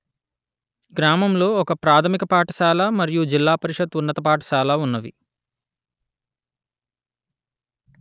గ్రామములో ఒక ప్రాథమిక పాఠశాల మరియు జిల్లా పరిషత్ ఉన్నత పాఠశాల ఉన్నవి